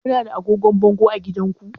Ku na da agogon bango a gidanku?